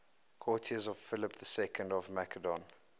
courtiers of philip ii of macedon